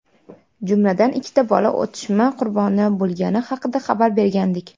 jumladan ikkita bola otishma qurboni bo‘lgani haqida xabar bergandik.